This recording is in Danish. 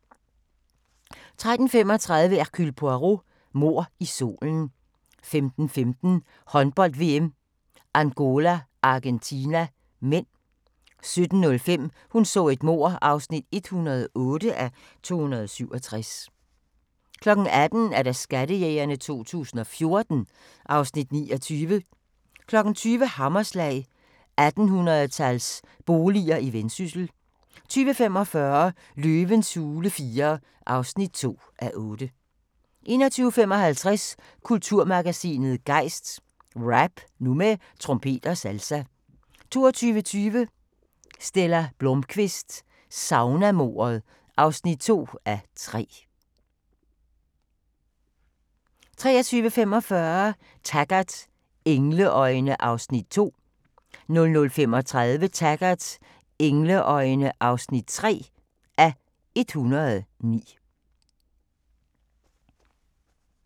13:35: Hercule Poirot: Mord i solen 15:15: Håndbold: VM - Angola-Argentina (m) 17:05: Hun så et mord (108:267) 18:00: Skattejægerne 2014 (Afs. 29) 20:00: Hammerslag – 1800-tals boliger i Vendsyssel 20:45: Løvens hule IV (2:8) 21:55: Kulturmagasinet Gejst: Rap – nu med trompet og salsa 22:20: Stella Blómkvist: Saunamordet (2:3) 23:45: Taggart: Engleøjne (2:109) 00:35: Taggart: Engleøjne (3:109)